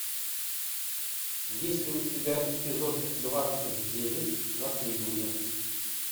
есть ли у тебя эпизод двадцать девять наследники